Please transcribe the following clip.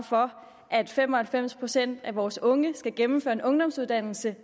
for at fem og halvfems procent af vores unge skal gennemføre en ungdomsuddannelse